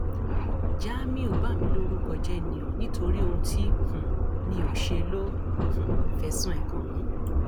jamiu bà mí lórúkọ jẹ ni o nítorí ohun tí um mi ò ṣe ló um fẹsùn ẹ kàn mí